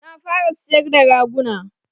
Na fara sayar da raguna